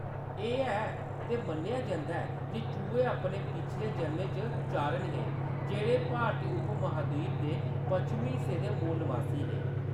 एह्‌‌ है, ते मन्नेआ जंदा ऐ जे चूहे अपने पिछले जन्में च चारण हे, जेह्‌‌ड़े भारती उपमहाद्वीप दे पच्छमी हिस्सें दे मूल नवासी हे।